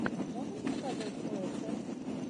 можешь показать слэшер